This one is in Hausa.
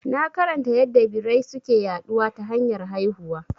Na karanta yadda birai suke yaɗuwa ta hanyar haihuwa